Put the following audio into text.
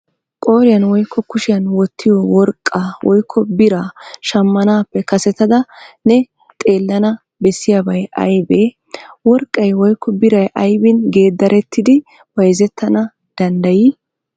Qooriyan woykko kushiyan wottiyo worqqaa woykko biraa shammanaappe kasetada ne xeellana bessiyibay aybee? Worqqay woykko biray aybin geeddarettidi bayzettana danddayii?